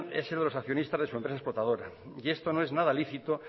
es el de los accionistas de su empresa explotadora y esto no es nada lícito